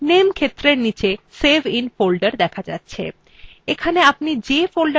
name ক্ষেত্রের নীচে save in folder দেখা যাচ্ছে